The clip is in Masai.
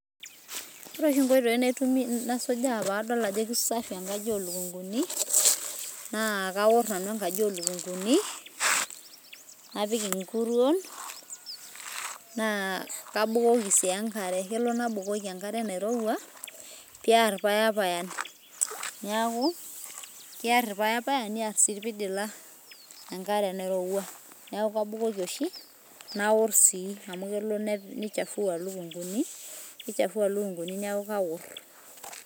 ore oshi inkoitoi naitumia nasuja padol ajo kisafi enkaji olukunguni, naa kaor nanu enkaji olkunguni napik inkuruon, na kabukoki si enkare kalo nabukoki enkare nairowua, piar payapayan, niaku kiar payapayan ,niar si ilpidila, enkare nairowua, niaku kabukoko oshi naor si ,amu kelo neichafua ilukunguni niaku kaor.